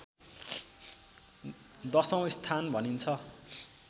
दशौँ स्थान भनिन्छ